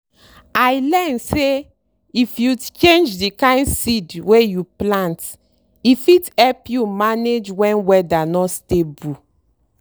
i learn say if you change the kind seed wey you plant e fit help you manage when weather no stable.